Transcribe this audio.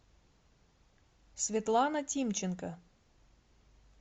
светлана тимченко